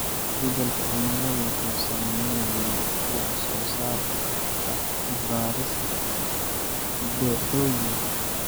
Isbeddelka cimiladu wuxuu saameeyay wax soo saarka bariiska dooxooyinka.